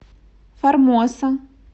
формоса